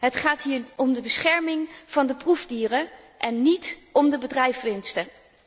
Het gaat hier om de bescherming van de proefdieren en níet om de bedrijfswinsten.